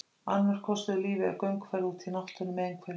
Annar kostur við lífið er gönguferð úti í náttúrunni, með einhverjum.